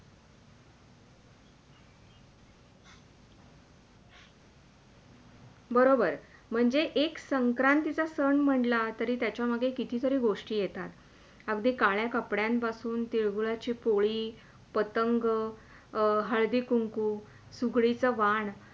बरोबर, म्हणजे एक संक्रांतीचा सण म्हणला तर त्याच्या मध्ये पण किती तरी गोष्टी येतात अगदी काळ्या कपड्यांपासून, तिळगूळाची पोळी, पतंग अं हळदी कुंकू, सुकडीचा वाण